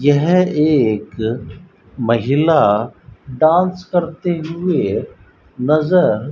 यह एक महिला डांस करते हुए नजर --